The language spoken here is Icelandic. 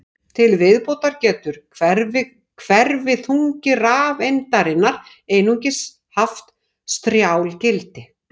Til viðbótar getur hverfiþungi rafeindarinnar einungis haft strjál gildi.